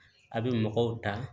A bɛ mɔgɔw ta